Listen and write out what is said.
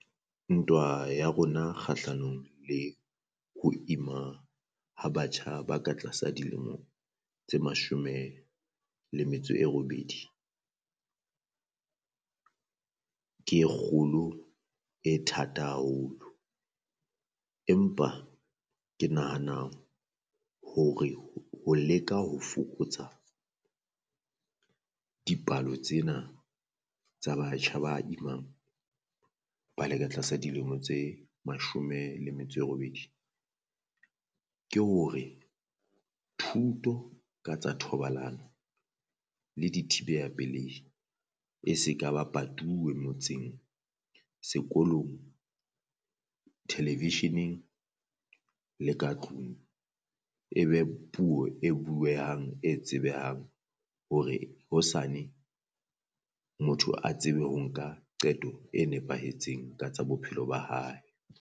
Ntwa ya rona kgahlanong le ho ima ha batjha ba ka tlasa dilemo tse mashome le metso e robedi, ke e kgolo e thata haholo. Empa ke nahana hore ho leka ho fokotsa dipalo tsena tsa batjha ba imang ba le ka tlasa dilemo tse mashome le metso e robedi, ke hore thuto ka tsa thobalano le di thibeha pelehi e se ka ba patuwe motseng sekolong television-eng le ka tlung. E be puo e buehang e tsebehang hore hosane motho a tsebe ho nka qeto e nepahetseng ka tsa bophelo ba hae.